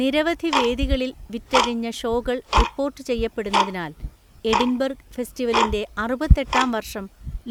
നിരവധി വേദികളിൽ വിറ്റഴിഞ്ഞ ഷോകൾ റിപ്പോർട്ട് ചെയ്യപ്പെടുന്നതിനാൽ, എഡിൻബർഗ് ഫെസ്റ്റിവലിന്റെ അറുപത്തെട്ടാം വർഷം